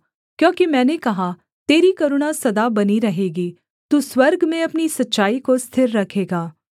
क्योंकि मैंने कहा तेरी करुणा सदा बनी रहेगी तू स्वर्ग में अपनी सच्चाई को स्थिर रखेगा